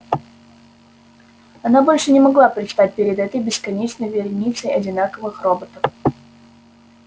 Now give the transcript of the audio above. она больше не могла предстать перед этой бесконечной вереницей одинаковых роботов